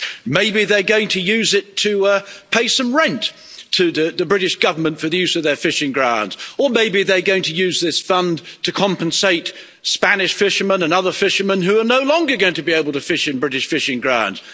Maybe they're going to use it to pay some rent to the British Government for the use of their fishing grounds, or maybe they're going to use this fund to compensate Spanish fishermen and other fishermen who are no longer going to be able to fish in British fishing grounds'.